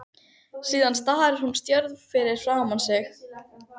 Síðan starir hún stjörf fram fyrir sig.